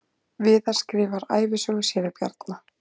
Viðar skrifar ævisögu séra Bjarna